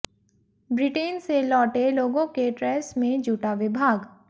Britain से लौटे लोगों के ट्रेस में जूटा विभाग